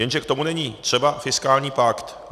Jenže k tomu není třeba fiskální pakt.